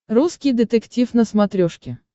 русский детектив на смотрешке